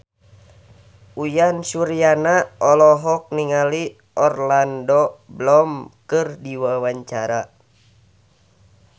Uyan Suryana olohok ningali Orlando Bloom keur diwawancara